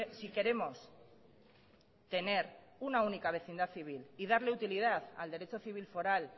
si queremos tener una única vecindad civil y darle utilidad al derecho civil foral